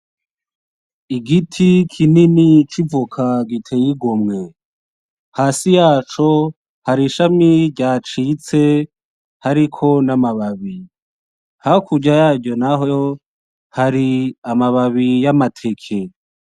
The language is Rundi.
igiti kinini c'ivoka giteye igomwe. Hasi yaco hari ishami ryacitse hariko n'amababi. Hakurya yaryo naho hari amababi y'amateke .